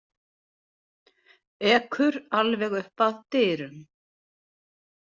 Ekur alveg upp að dyrum.